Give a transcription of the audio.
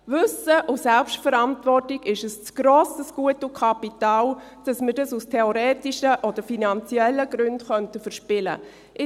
Wissen und Selbstverantwortung sind ein zu grosses Gut und Kapital, als dass wir es aus theoretischen oder finanziellen Gründen verspielen könnten.